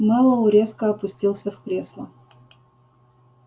мэллоу резко опустился в кресло